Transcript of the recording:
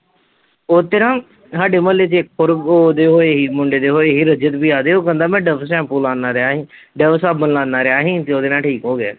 ਉਹ ਚ ਨਾ ਸਾਡੇ ਮੁਹੱਲੇ ਚ ਹੋਰ ਓਹਦੇ ਹੋਏ ਸੀ ਮੁੰਡੇ ਦੇ ਹੋਏ ਸੀ ਰਜਤ ਭਈਆ ਦੇ ਉਹ ਕਹਿੰਦਾ ਮੈ ਡਵ ਸੈਂਪੂ ਲਾਨਾ ਰਿਹਾ ਸੀ ਡਵ ਸਾਬਣ ਲਾਨਾ ਰਿਹਾ ਹੀ ਤੇ ਓਹਦੇ ਨਾਲ ਠੀਕ ਹੋ ਗਿਆ